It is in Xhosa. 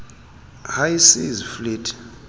high seas fleet